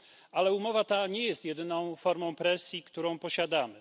Ale umowa ta nie jest jedyną formą presji, którą posiadamy.